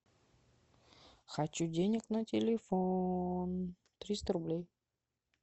хочу денег на телефон триста рублей